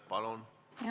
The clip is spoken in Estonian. Palun!